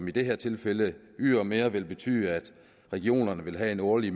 i det her tilfælde ydermere er vil betyde at regionerne vil have en årlig